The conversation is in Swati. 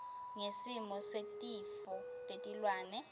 ngesimo setifo tetilwane